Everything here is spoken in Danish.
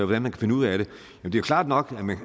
man kan finde ud af det er det klart nok